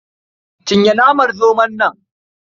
Cinye naman zomon nan.